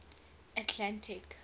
atlantic